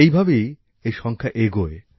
এভাবেই এই সংখ্যা এগোয়